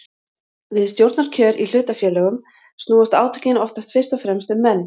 Við stjórnarkjör í hlutafélögum snúast átökin oftast fyrst og fremst um menn.